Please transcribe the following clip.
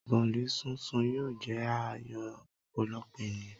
Bọ̀ọ̀lì sún sun yóò jẹ́ à yò ọ̀pọ̀lọpọ̀ ènìyàn.